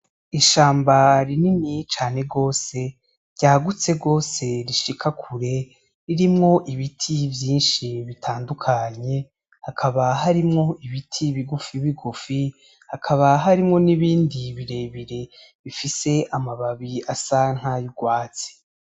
Ishamba rinini cane gose ryagutse gose rishika kure ririmwo Ibiti vyinshi bitandukanye hakaba harimwo ibiti bigufi bigufi hakaba harimwo n'ibindi birebire bifise amababi asa nay'urwatsi.